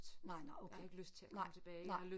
Nej nåh okay nej nej